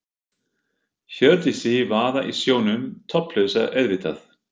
Hjördísi vaða í sjónum, topplausa auðvitað.